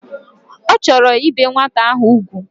Ochoro ibe nwata ahu ukwu